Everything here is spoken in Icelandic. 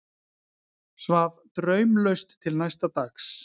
Svaf draumlaust til næsta dags.